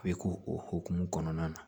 A bɛ k'o o hokumu kɔnɔna na